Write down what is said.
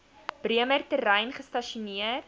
bremer terrein gestasioneer